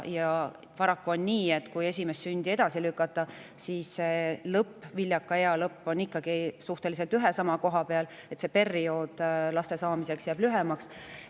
Paraku on nii, et viljaka ea lõpp on ikkagi suhteliselt ühe ja sama koha peal ning kui esimest sündi edasi lükata, jääb laste saamise periood lühemaks.